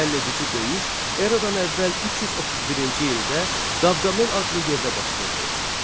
Həlledici döyüş eramdan əvvəl 331-ci ildə Qavqamel adlı yerdə baş verdi.